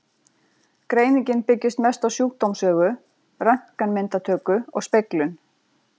Greiningin byggist mest á sjúkdómssögu, röntgenmyndatöku og speglun.